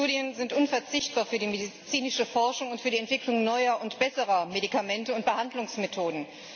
Klinische Studien sind unverzichtbar für die medizinische Forschung und für die Entwicklung neuer und besserer Medikamente und Behandlungsmethoden.